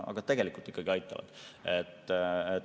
Aga tegelikult ikkagi aitavad.